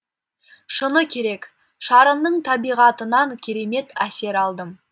шыны керек шарынның табиғатынан керемет әсер алдым